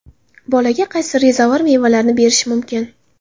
Bolaga qaysi rezavor mevalarni berish mumkin?.